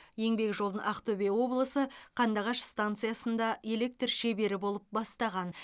еңбек жолын ақтөбе облысы қандыағаш станциясында электр шебері болып бастаған